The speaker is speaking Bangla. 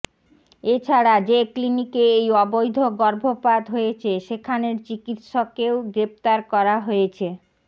এছাডা় যে ক্লিনিকে এই অবৈধ গর্ভপাত হয়েছে সেখানের চিকিৎসকেও গ্রেফতার করা হয়েছে